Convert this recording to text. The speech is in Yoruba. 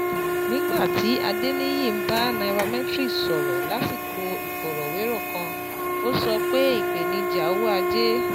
Nígbà tí Adeniyi ń bá Nairametrics sọ̀rọ̀ lásìkò ìfọ̀rọ̀wérò kan, ó sọ pé ìpèníjà owó ajé